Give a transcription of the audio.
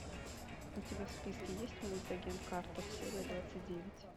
у тебя в списке есть мульт агент картер серия двадцать девять